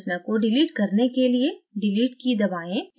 संरचना को डिलीट करने के लिए delete key दबाएं